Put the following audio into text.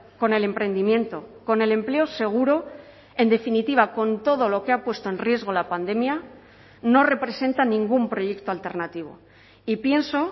con el emprendimiento con el empleo seguro en definitiva con todo lo que ha puesto en riesgo la pandemia no representa ningún proyecto alternativo y pienso